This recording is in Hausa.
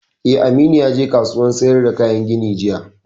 Eh, Aminu ya je kasuwan sayar da kayan gini jiya